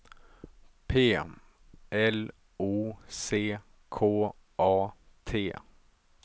P L O C K A T